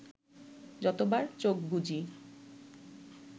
যতবার চোখ বুজি